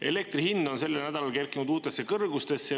Elektri hind on sellel nädalal kerkinud uutesse kõrgustesse.